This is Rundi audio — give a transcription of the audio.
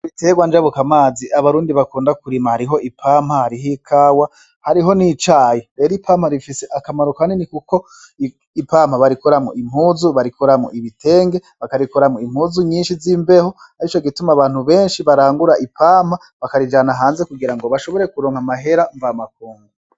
Ibiterwa njabukamazi abarundi bakunda kurima hariho ipampa hariho ikawa hariho n'icayi rero ipampa rifise akamaro ka nini, kuko ipampa barikoramwo impuzu barikoramwo ibitenge bakarikoramwo impuzu nyinshi z'imbeho arico gituma abantu benshi barangura ipampa bakarijana hanze kugira ngo bashobore kuronka amahera mvamakungu.